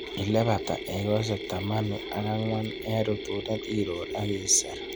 Ileibata iekosiek tamanu ak angwa en rutunet iror ak iser.